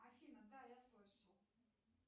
афина да я слышал